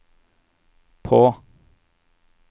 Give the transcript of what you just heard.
på